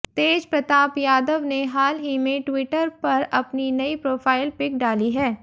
तेज प्रताप यादव ने हाल ही में ट्विटर पर अपनी नई प्रोफाइल पिक डाली है